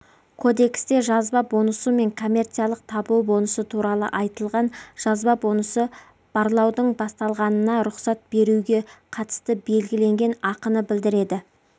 кодексте жазба бонусы мен коммерциялық табу бонусы туралы айтылған жазба бонусы барлаудың басталғанына рұқсат беруге қатысты белгіленген ақыны білдіреді